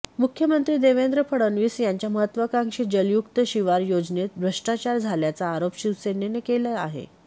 मुख्यमंत्री देवेंद्र फडणवीस यांच्या महत्त्वाकांक्षी जलयुक्त शिवार योजनेत भ्रष्टाचार झाल्याचा आरोप शिवसेनेने केला आहे